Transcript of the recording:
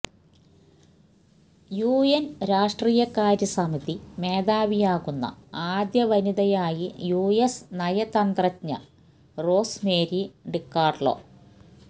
UN രാഷ്ട്രീയകാര്യസമിതി മേധാവിയാകുന്ന ആദ്യ വനിതയായി യുഎസ് നയതന്ത്രജ്ഞ റോസ്മേരി ഡിക്കാർലോ